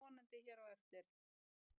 Þetta skýrist vonandi hér á eftir.